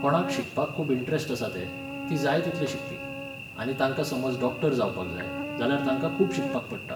कोणाक शिकपाक खूब इंट्रेस्ट आसा ते, ती जाय तितले शिकपी. आनी तांकां समज डॉक्टर जावपाक जाय, जाल्यार तांकां खूब शिकपाक पडटा.